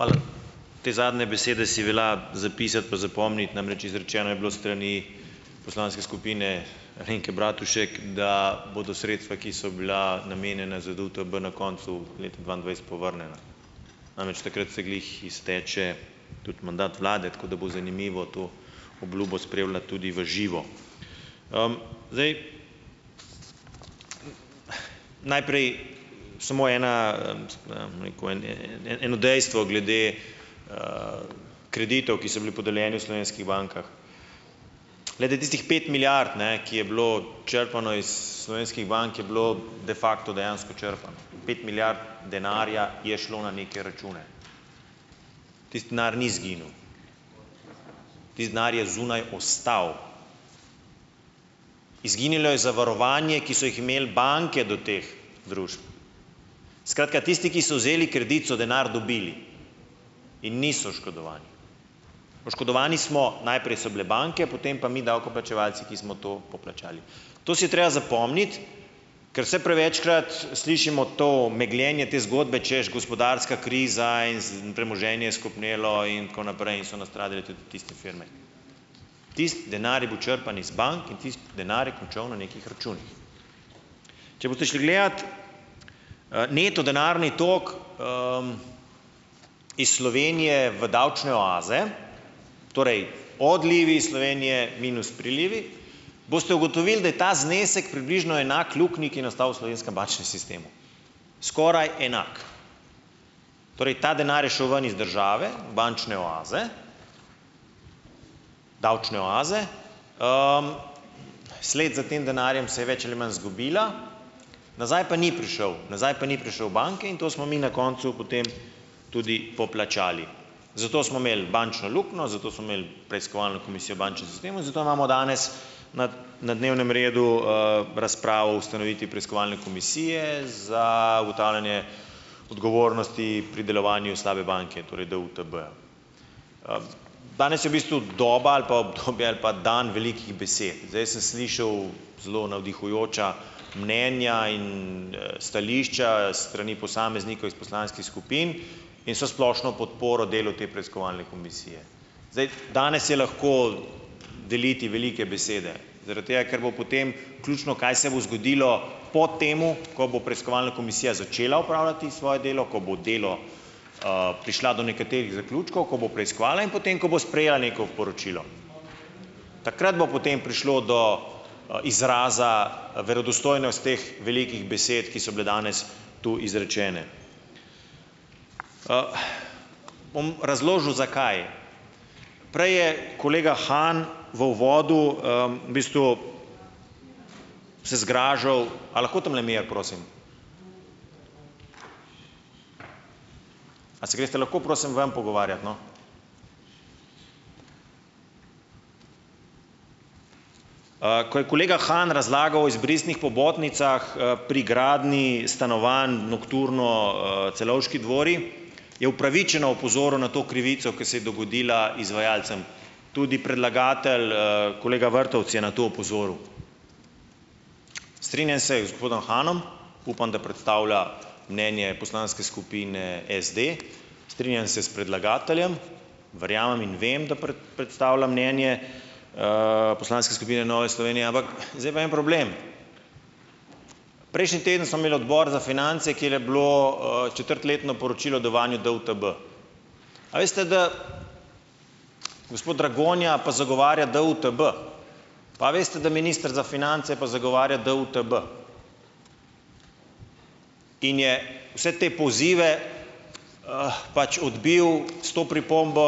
Hvala. Te zadnje besede si velja zapisati pa zapomniti, namreč izrečeno je bilo strani poslanske skupine Alenke Bratušek, da bodo sredstva, ki so bila namenjena za DUTB na koncu leta dvaindvajset povrnjena. Namreč takrat se glih izteče tudi mandat Vlade, tako da bo zanimivo to obljubo spremljati tudi v živo. zdaj najprej samo ena rekel eno dejstvo glede kreditov, ki so bili podeljeni v slovenskih bankah. Glede tistih pet milijard, ne, ki je bilo črpano iz slovenskih bank, je bilo de facto dejansko črpano. Pet milijard denarja je šlo na neke račune. Tisti denar ni izginil. Tisti denar je zunaj ostal. Izginilo je zavarovanje, ki so jih imeli banke do teh družb. Skratka tisti, ki so vzeli kredit, so denar dobili. In niso oškodovani. Oškodovani smo, najprej so bile banke, potem pa mi davkoplačevalci, ki smo to poplačali. To si je treba zapomniti, ker vse prevečkrat slišimo to megljenje te zgodbe, češ gospodarska kriza in premoženje je skopnelo in tako naprej in so nastradali tudi tudi tisti firme. Tisti denar je bil črpan iz bank in tisti denar je končal na nekih računih. Če boste šli gledat neto denarni tako iz Slovenije v davčne oaze, torej odlivi iz Slovenije minus prilivi, boste ugotovili, da je ta znesek približno enak luknji, ki je nastal v slovenskem bančnem sistemu, skoraj enak. Torej ta denar je šel ven iz države, bančne oaze, davčne oaze, sled za tem denarjem se je več ali manj zgubila, nazaj pa ni prišel, nazaj pa ni prišel banki in to smo mi na koncu potem tudi poplačali. Zato smo imeli bančno luknjo, zato smo imeli preiskovalno komisijo bančnem sistemu, zato imamo danes na dnevnem redu razprav ustanoviti preiskovalne komisije za ugotavljanje odgovornosti pri delovanju slabe banke, torej DUTB-ja. Danes je v bistvu doba ali pa obdobje ali pa dan velikih besed. Zdaj sem slišal zelo navdihujoča mnenja in stališča s strani posameznikov iz poslanskih skupin in vso splošno podporo delu te preiskovalne komisije. Zdaj danes je lahko deliti velike besede, zaradi tega, ker bo potem ključno, kaj se bo zgodilo po temu, ko bo preiskovalna komisija začela opravljati svoje delo, ko bo delo prišla do nekaterih zaključkov, ko bo preiskovala, in po tem, ko bo sprejela neko poročilo. Takrat bo potem prišlo do izraza verodostojnost teh velikih besed, ki so bile danes tu izrečene. bom razložil, zakaj. Prej je kolega Han v uvodu v bistvu se zgražal, a lahko tamle mir, prosim. A se greste lahko prosim ven pogovarjat, no. ko je kolega Han razlagal o izbrisnih pobotnicah pri gradnji stanovanj Nokturno Celovški dvori, je opravičeno opozoril na to krivico, ko se je dogodila izvajalcem. Tudi predlagatelj, kolega Vrtovec, je na to opozoril. Strinjam se z gospodom Hanom, upam, da predstavlja mnenje poslanske skupine SD, strinjam se s predlagateljem, verjamem in vem, da predstavlja mnenje poslanske skupine Nove Slovenije, ampak zdaj pa en problem. Prejšnji teden smo imeli odbor za finance, kjer je bilo četrtletno poročilo devanju DUTB. A veste, da gospod Dragonja pa zagovarja DUTB, a veste, da minister za finance pa zagovarja DUTD in je vse te pozive pač odbil s to pripombo,